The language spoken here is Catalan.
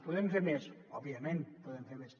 podem fer més òbviament podem fer més